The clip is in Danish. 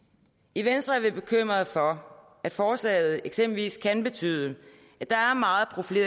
i venstre er vi bekymrede for at forslaget eksempelvis kan betyde